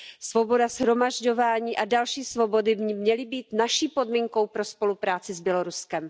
Svoboda shromažďování a další svobody by měly být naší podmínkou pro spolupráci s Běloruskem.